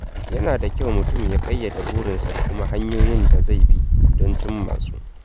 Yana da kyau mutum ya ƙayyade burinsa da kuma hanyoyin da zai bi don cimma su.